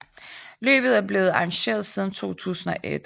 Løbet er blevet arrangeret siden 2001